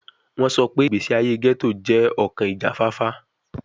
Wọn sọ pe igbesi aye ghetto jẹ ki ọkan ijafafa